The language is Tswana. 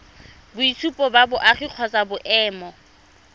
boitshupo ba boagi kgotsa boemo